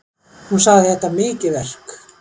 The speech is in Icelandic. Hún sagði þetta mikið verk